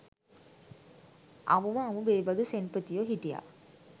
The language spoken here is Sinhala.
අමුම අමු බේබදු සෙන්පතියෝ හිටිය.